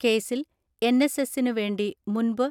കേസിൽ N S എസിനു വേണ്ടി മുൻ പു